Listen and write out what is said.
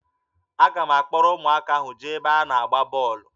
Aga m akpọrọ ụmụaka ahụ jee ebe a na-agba bọọlụ